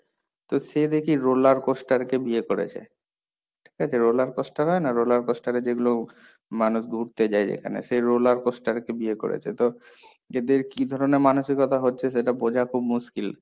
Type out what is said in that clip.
তো সে দেখি roller coaster কে বিয়ে করেছে, ঠিক আছে? roller coaster হয় না roller coaster এ যেগুলো মানুষ ঘুরতে যায় যেখানে সেই roller coaster কে বিয়ে করেছে, তো এদের কি ধরনের মানসিকতা হচ্ছে সেটা বোঝা খুব মুশকিল।